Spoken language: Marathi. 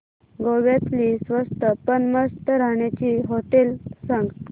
गोव्यातली स्वस्त पण मस्त राहण्याची होटेलं सांग